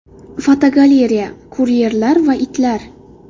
Fotogalereya: Kuryerlar va itlar.